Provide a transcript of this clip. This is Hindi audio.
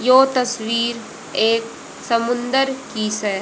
यो तस्वीर एक समुंदर की से ।